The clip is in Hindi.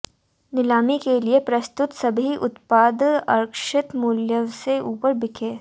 नीलामी के लिए प्रस्तुत सभी उत्पाद आरक्षित मूल्य से ऊपर बिके